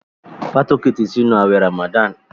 Fatoke tí sínú awé ramadan.